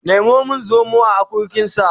Nemo min zomo a akurkinsa